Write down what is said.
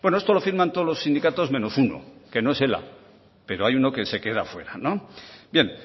esto lo firman todos los sindicatos menos uno que no es ela pero hay uno que se queda fuera bien